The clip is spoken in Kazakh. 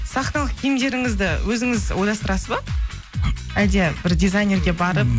сахналық киімдеріңізді өзіңіз ойластырасыз ба әлде бір дизайнерге барып